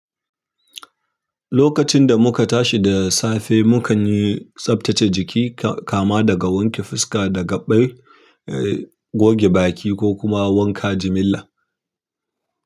Lokacin da muka tashi da safe, mukan yi tsabtace jiki, kama daga wanke fuska da gaba, goge baki ko kuma wanka jimilla.